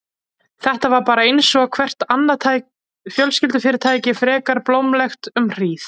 Þetta var bara einsog hvert annað fjölskyldufyrirtæki, frekar blómlegt um hríð.